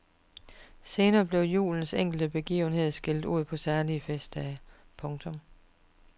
Senere blev julens enkelte begivenheder skilt ud på særlige festdage. punktum